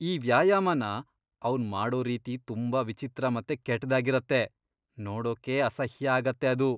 ಈ ವ್ಯಾಯಾಮನ ಅವ್ನ್ ಮಾಡೋ ರೀತಿ ತುಂಬಾ ವಿಚಿತ್ರ ಮತ್ತೆ ಕೆಟ್ದಾಗಿರತ್ತೆ.. ನೋಡೋಕೇ ಅಸಹ್ಯ ಆಗತ್ತೆ ಅದು.